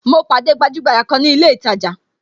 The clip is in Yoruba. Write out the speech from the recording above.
Mo pàdé gbajugbaja kan ni ilé itaja